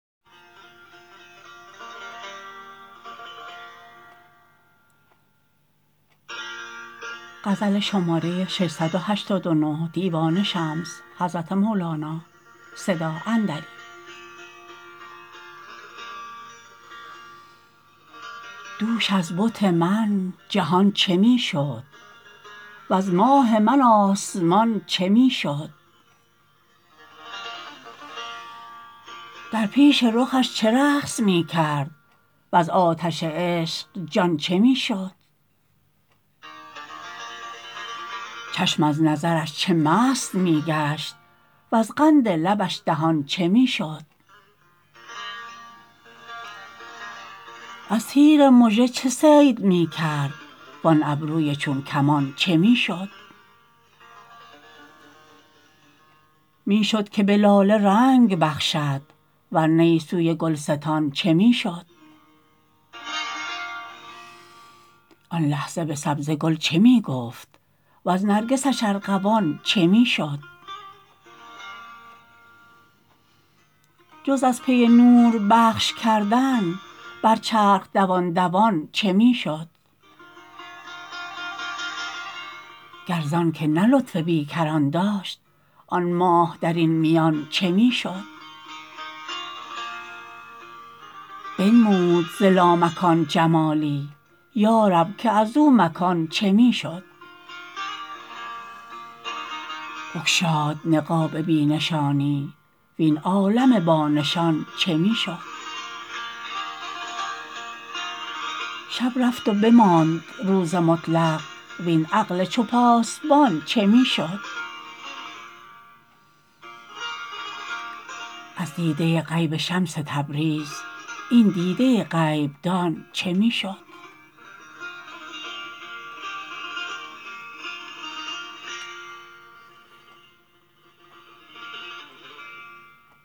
دوش از بت من جهان چه می شد وز ماه من آسمان چه می شد در پیش رخش چه رقص می کرد وز آتش عشق جان چه می شد چشم از نظرش چه مست می گشت وز قند لبش دهان چه می شد از تیر مژه چه صید می کرد وان ابروی چون کمان چه می شد می شد که به لاله رنگ بخشد ور نی سوی گلستان چه می شد آن لحظه به سبزه گل چه می گفت وز نرگسش ارغوان چه می شد جز از پی نور بخش کردن بر چرخ دوان دوان چه می شد گر زانک نه لطف بی کران داشت آن ماه در این میان چه می شد بنمود ز لامکان جمالی یا رب که از او مکان چه می شد بگشاد نقاب بی نشانی وین عالم بانشان چه می شد شب رفت و بماند روز مطلق وین عقل چو پاسبان چه می شد از دیده غیب شمس تبریز این دیده غیب دان چه می شد